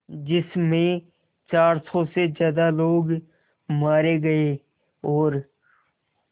जिस में चार सौ से ज़्यादा लोग मारे गए और